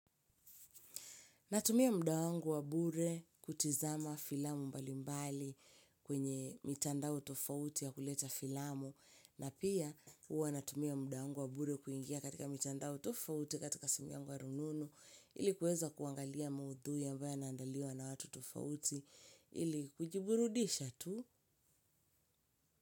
Natumia muda wangu wa bure kutizama filamu mbali mbali kwenye mitandao tofauti ya kuleta filamu. Na pia huwa natumia muda wangu wa bure kuingia katika mtandao tofauti katika simu yangu wa rununu ili kuweza kuangalia maudhui ambayo yanaandaliwa na watu tofauti ili kujiburudisha tu.